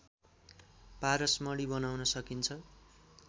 पारसमणि बनाउन सकिन्छ